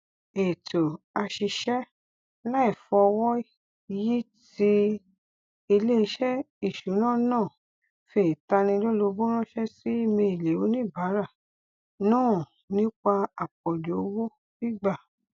ètò àṣiṣẹ láìfọwọyí ti iléeṣẹ ìṣúná náà fi ìtanilólobó ránṣẹ sí íméèlì oníbàárà náà nípa àpọjù owó gbígbà